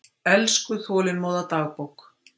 Elsku, þolinmóða dagbók!